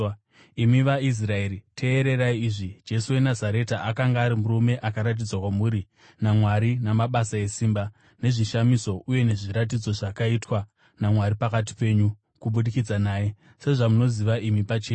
“Imi vaIsraeri, teererai izvi: Jesu weNazareta akanga ari murume akaratidzwa kwamuri naMwari namabasa esimba, nezvishamiso uye nezviratidzo, zvakaitwa naMwari pakati penyu kubudikidza naye, sezvamunoziva imi pachenyu.